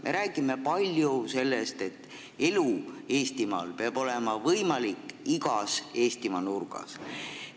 Me räägime palju sellest, et elu peab olema võimalik igas Eestimaa nurgas.